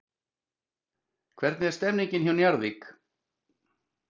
Hvernig er stemningin hjá Njarðvík?